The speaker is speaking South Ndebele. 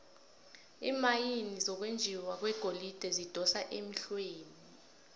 iimayini zokwenjiwa kwegolide zidosa emhlweni